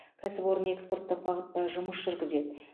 кәсіпорын экспорттық бағытта жұмыс жүргізеді